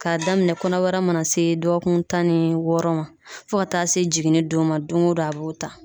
K'a daminɛ kɔnɔbara mana se dɔgɔkun tan ni wɔɔrɔ ma fo ka taa se jiginni don ma don o don a b'o ta.